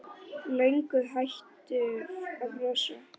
Löngu hættur að brosa.